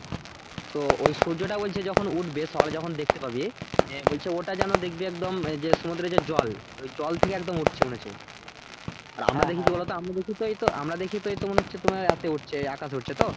তো ওই সূর্যটা বলছে যখন উঠবে সকালে যখন দেখতে পাবি হ্যাঁ বলছে ওটা যেনো দেখবি একদম যে সমুদ্রে যে জল ওই জল থেকে একদম উঠছে মনে হচ্ছে তো আমি দেখি তাই তো আমরা দেখি তাই তো মনে হচ্ছে তোমার রাতে উঠছে আকাশে উঠছে তো